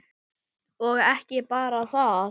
Og ekki bara það